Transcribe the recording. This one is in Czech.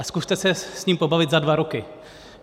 A zkuste se s ním pobavit za dva roky.